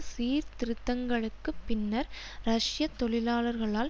சீர்திருத்தங்களுக்குப் பின்னர் ரஷ்ய தொழிலாளர்களால்